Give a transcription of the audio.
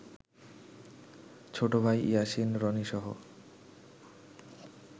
ছোটভাই Yasin রনিসহ